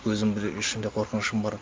өзімде де ішімде қорқынышым бар